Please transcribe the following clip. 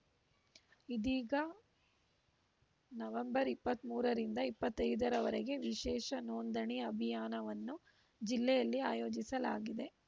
ಇದೀಗ ನವೆಂಬರ್ ಇಪ್ಪತ್ತ್ ಮೂರರಿಂದ ಇಪ್ಪತ್ತೈದರವರೆಗೆ ವಿಶೇಷ ನೋಂದಣಿ ಅಭಿಯಾನವನ್ನು ಜಿಲ್ಲೆಯಲ್ಲಿ ಆಯೋಜಿಸಲಾಗಿದೆ